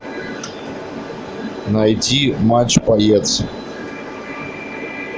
найди матч боец